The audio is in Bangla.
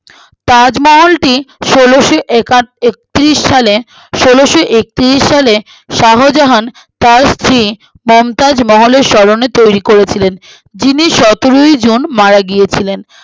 তাজমহলটি ষোলোশোএকা একত্রিশ সালে ষোলোশোএকত্রিশ সালে শাহজাহান তার স্ত্রী মমতাজ মহলের স্মরণে তৈরী করেছিলেন যিনি সতেরোই জুন মারা গিয়ে ছিলেন